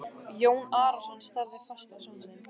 Jón Arason starði fast á son sinn.